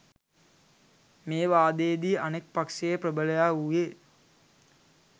මේ වාදයේදී අනෙක් පක්ෂයේ ප්‍රබලයා වූයේ